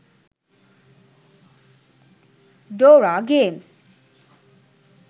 dora games